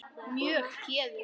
Mjög geðug.